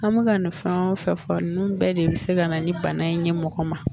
An bɛ ka nin fɛn o fɛ fɔ nnnu bɛɛ de bɛ se ka na ni bana in ɲɛ mɔgɔ ma.